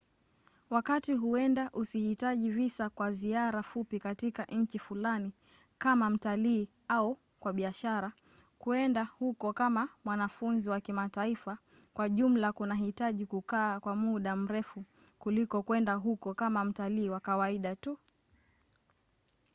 wakati huenda usihitaji visa kwa ziara fupi katika nchi fulani kama mtalii au kwa biashara kwenda huko kama mwanafunzi wa kimataifa kwa jumla kunahitaji kukaa kwa muda mrefu kuliko kwenda huko kama mtalii wa kawaida tu